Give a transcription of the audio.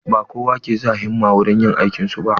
Ba kowa ke sa himma wurin yin aikin su ba.